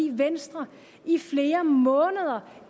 at venstre